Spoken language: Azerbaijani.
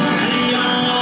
Heydər!